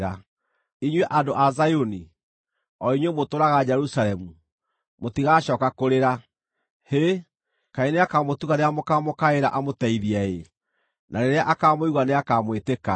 Inyuĩ andũ a Zayuni, o inyuĩ mũtũũraga Jerusalemu, mũtigacooka kũrĩra. Hĩ, kaĩ nĩakamũtuga rĩrĩa mũkaamũkaĩra amũteithie-ĩ! Na rĩrĩa akaamũigua nĩakamwĩtĩka.